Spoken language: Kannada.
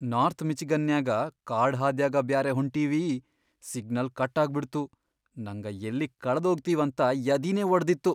ನಾರ್ಥ್ ಮಿಚಿಗನ್ನ್ಯಾಗ ಕಾಡಹಾದ್ಯಾಗ ಬ್ಯಾರೆ ಹೊಂಟಿವಿ, ಸಿಗ್ನಲ್ ಕಟ್ ಆಗ್ಬಿಡ್ತು ನಂಗ ಯಲ್ಲಿ ಕಳದೋಗ್ತಿವಂತ ಯದಿನೇ ವಡದಿತ್ತು.